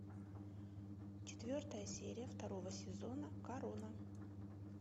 четвертая серия второго сезона корона